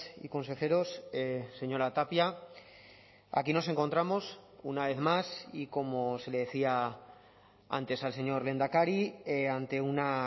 y consejeros señora tapia aquí nos encontramos una vez más y como se le decía antes al señor lehendakari ante una